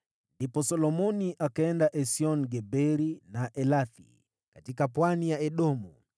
Ndipo Solomoni akaenda Esion-Geberi na Elathi katika pwani ya Edomu.